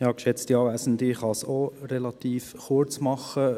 Ich kann es auch relativ kurz machen.